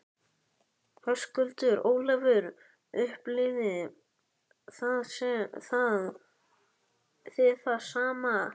Höskuldur: Ólafur, upplifið þið það sama?